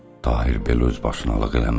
Tahir belə özbaşınalıq eləməzdi.